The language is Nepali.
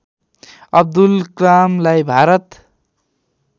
अब्दुल कलामलाई भारत